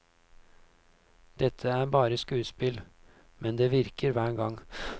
Dette er bare skuespill, men det virker hver gang.